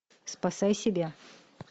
спасай себя